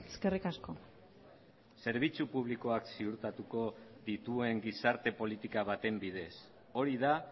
eskerrik asko zerbitzu publikoak ziurtatuko dituen gizarte politika baten bidez hori da